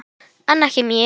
En ekki mér.